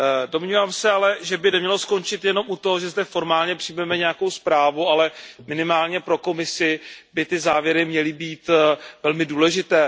Domnívám se ale, že by nemělo skončit jen u toho, že zde formálně přijmeme nějakou zprávu, ale minimálně pro Komisi by ty závěry měly být velmi důležité.